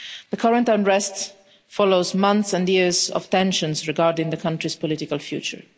The current unrest follows months and years of tensions regarding the country's political future.